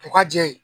U ka jɛ ye